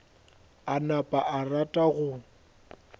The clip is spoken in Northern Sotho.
a napa a rata go